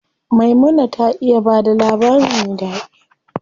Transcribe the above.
Maimuna ta iya bada labari me ɗaɗi.